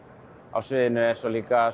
á sviðinu er svo líka